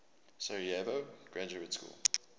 sarajevo graduate school